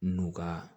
N'u ka